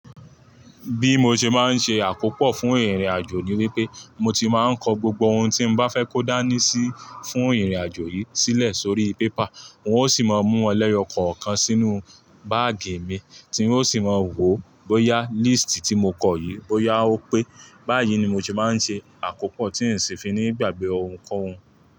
Bí mo ṣe máa ń ṣe àkópọ̀ fún ìrìnàjò ni wípé mo ti má ń kọ gbogbo ohun tí n bá fẹ́ kó dání sí fún ìrìnàjò yìí sílẹ̀ sórí paper. N ó sì máa mú won lẹ́yọ kọ̀ọ̀kan sínú báàgì mi tí n ó sì máa wò ó bóyá líísìtì tí mo kọ yìí bóyá ó pé. Báyìí ni mo ti má ń ṣe àkópọ̀ tí n sì fi ní gbàgbé ohunkóhun.